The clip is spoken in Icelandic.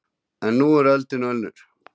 En nú er öldin önnur